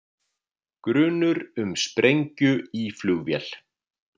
Grunur um sprengju í flugvél